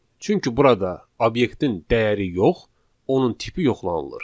Çünki burada obyektin dəyəri yox, onun tipi yoxlanılır.